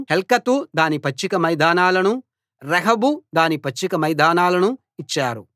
హెల్కతు దాని పచ్చిక మైదానాలనూ రెహోబు దాని పచ్చిక మైదానాలనూ ఇచ్చారు